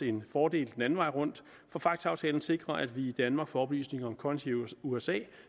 en fordel den anden vej rundt for facta aftalen sikrer at vi i danmark får oplysninger om konti i usa